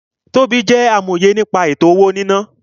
Tobí jẹ́ amòye nípa ètò-owó-níná